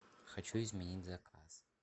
хочу изменить заказ